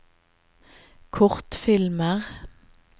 kortfilmer